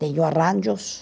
Tenho arranjos,